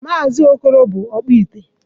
Maazị okoro bụ ọkpụite